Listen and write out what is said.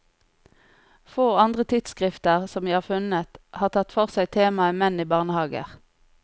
Få andre tidsskrifter, som jeg har funnet, har tatt for seg temaet menn i barnehager.